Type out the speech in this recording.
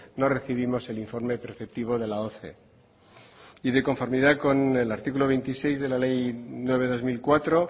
no recibimos el informe preceptivo de la y de conformidad con el artículo veintiséis de la ley nueve barra dos mil cuatro